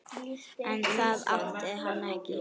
En það átti hann ekki.